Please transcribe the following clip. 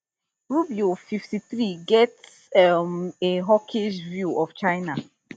rubio fifty-three get um a hawkish view of china